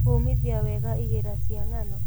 Kũmithia wega igira cia ngano